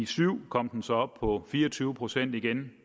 syv kom den så op på fire og tyve procent igen